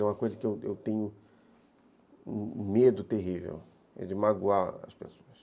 É uma coisa que eu tenho um medo terrível, é de magoar as pessoas.